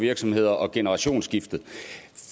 virksomheder og generationsskifte